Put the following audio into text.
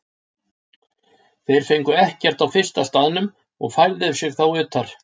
Þeir fengu ekkert á fyrsta staðnum og færðu sig þá utar.